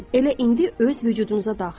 Elə indi öz vücudunuza daxil olun.